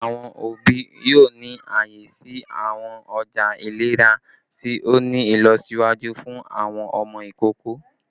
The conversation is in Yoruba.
Awọn obi yoo ni aaye si awọn ọja ilera ti o ni ilọsiwaju fun awọn ọmọ ikoko